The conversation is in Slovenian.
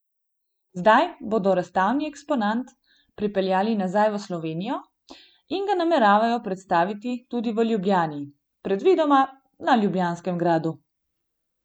Zdaj bodo razstavni eksponat pripeljali nazaj v Slovenijo in ga nameravajo predstaviti tudi v Ljubljani, predvidoma na Ljubljanskem gradu.